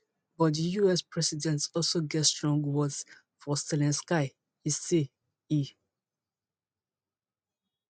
but di us president also get strong words for zelensky e say e